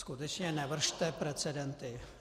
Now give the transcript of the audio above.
Skutečně nevršte precedenty.